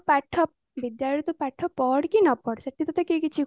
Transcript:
ବିଦ୍ୟାଳୟରେ ତୁ ପାଠ ପଢ କି ନ ପଢ ସେଠି ତତେ କେହି କିଛି କହିବେନି